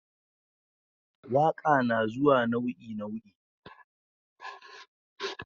waƙa nazuwa nau'i nau'i